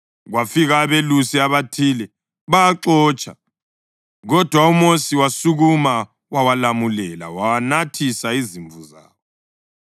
Kwafika abelusi abathile bawaxotsha, kodwa uMosi wasukuma wawalamulela wanathisa izimvu zawo.